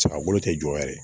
Sara bolo tɛ jɔ yɛrɛ